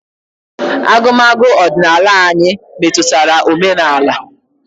Agụmagụ ọdịnala anyi metụtara omenala.